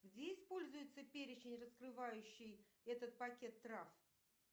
где используется перечень раскрывающий этот пакет трав